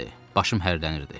Başım hərlənirdi.